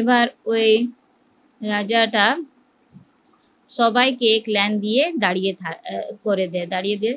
এবার ওই রাজাটা সবাইকে দিয়ে দাঁড়িয়ে করে দেয় দাড়িয়ে দিয়ে